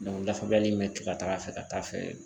dafabaliya in be to ka taa a fɛ ka taa fɛ.